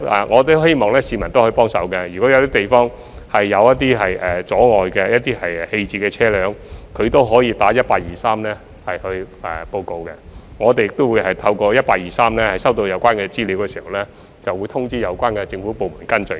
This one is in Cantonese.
我希望市民可以幫忙，如果有些地方有棄置車輛構成阻礙，可以致電1823報告，我們亦會在透過1823收到有關資料後，通知有關政府部門跟進。